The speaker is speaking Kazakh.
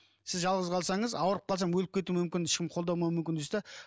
сіз жалғыз қалсаңыз ауырып қалсам өліп кету мүмкін ешкім қолдамауы мүмкін дейсіз де